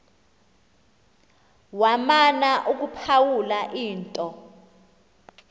wamana ukuphawula into